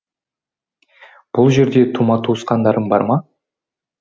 бұл жерде тума туысқандарың бар ма